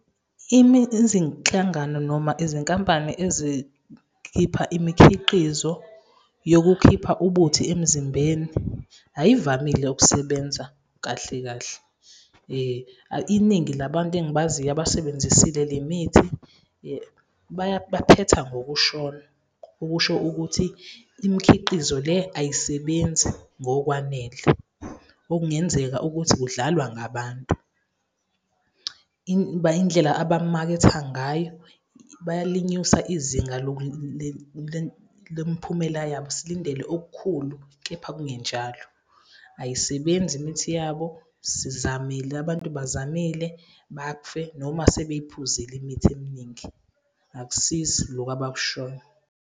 Izinhlangano noma izinkampani ezikhipha imikhiqizo yokukhipha ubuthi emzimbeni ay'vamile ukusebenza kahle kahle. Iningi labantu engibaziyo abazisebenzisile le mithi baphetha ngokushona, okusho ukuthi imikhiqizo le ayisebenzi ngokwanele. Okungenzeka ukuthi kudlalwa ngabantu. Indlela abakumaketha ngayo bayalinyusa izinga lomiphumela yabo, silindele okukhulu, kepha kungenjalo. Ayisebenzi imithi yabo, sizamile, abantu bazamile. Bafe noma sebeyiphuzile imithi eminingi, akusizi lokho abakushoyo.